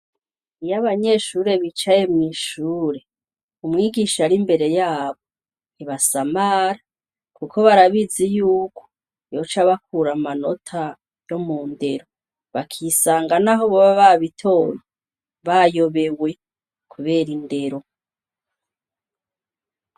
Iyo abanyeshure bicaye mw'ishure, umwigisha ari imbere yabo, ntibasamara kuko barabizi yuko yoca abakura amanota yo mu ndero, bakisanga, naho boba babitoye, bayobewe kubera indero.